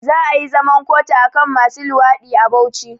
Za ayi zaman kotu akan masu luwaɗi a Bauchi